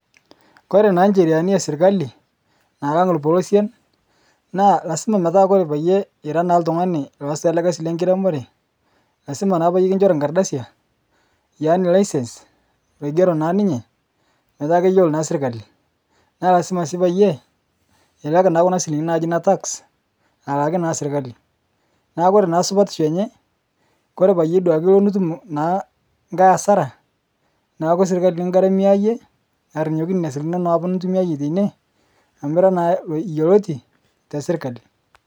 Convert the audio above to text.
Kore naa ncheriani esirkali nalang' lpolosen naa lasima metaa paye ira naa ltung'ani looasita ale kasi lekiremore lasima naa paye nkichori nkardasia yaani license logero naa ninye metaa keyuolo naa sirkali. Naa lasima sii payee ilak naa kuna silinkini naaji netax aalaki naa sirkali, naa kore naa supatisho enye kore paye ilo dukae nitum nkae asara naaku sirkali nikigaramia iye arinyoki neina silnkini inono apa nitumiyaie teine amu ira naa loyuoloti te sirkali.